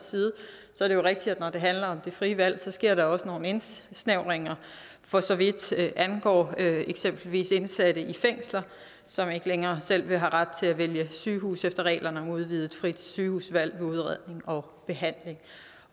er det jo rigtigt at når det handler om det frie valg så sker der også nogle indsnævringer for så vidt angår eksempelvis indsatte i fængsler som ikke længere selv vil have ret til at vælge sygehus efter reglerne om udvidet frit sygehusvalg med udredning og behandling